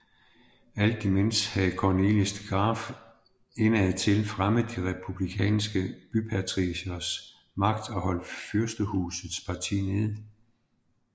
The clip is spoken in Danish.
Alt imens havde Cornelis de Graeff indadtil fremmet de republikanske bypatricieres magt og holdt fyrstehusets parti nede